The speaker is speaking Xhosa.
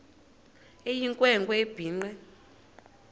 eyinkwe nkwe ebhinqe